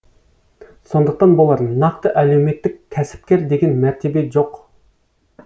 сондықтан болар нақты әлеуметтік кәсіпкер деген мәртебе жоқ